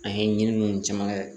An ye ɲininiw caman kɛ